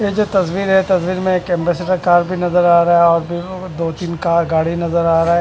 ये जो तस्वीर है तस्वीर में एक एम्बेसडर कार भी नजर आ रहा है और दो-तीन कार गाड़ी नजर आ रहा है।